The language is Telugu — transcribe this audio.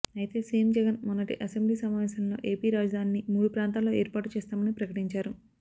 అయితే సీఎం జగన్ మొన్నటి అసెంబ్లీ సమావేశాల్లో ఏపీ రాజధానిని మూడు ప్రాంతాల్లో ఏర్పాటుచేస్తామని ప్రకటించారు